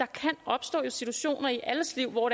kan opstå situationer i alles liv hvor